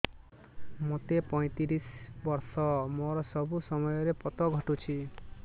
ମୋତେ ପଇଂତିରିଶ ବର୍ଷ ମୋର ସବୁ ସମୟରେ ପତ ଘଟୁଛି